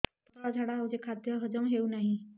ପତଳା ଝାଡା ହେଉଛି ଖାଦ୍ୟ ହଜମ ହେଉନାହିଁ